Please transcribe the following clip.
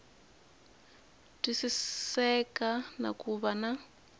twisiseka na ku va na